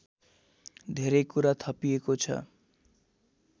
धेरै कुरा थपिएको छ